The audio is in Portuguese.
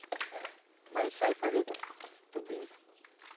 Né? Mas a gente sabe fazer tudo isso.